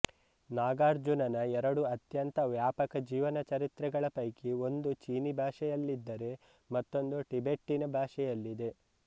ನಾಗಾರ್ಜುನನ ಎರಡು ಅತ್ಯಂತ ವ್ಯಾಪಕ ಜೀವನ ಚರಿತ್ರೆಗಳ ಪೈಕಿ ಒಂದು ಚೀನೀ ಭಾಷೆಯಲ್ಲಿದ್ದರೆ ಮತ್ತೊಂದು ಟಿಬೆಟ್ಟಿನ ಭಾಷೆಯಲ್ಲಿದೆ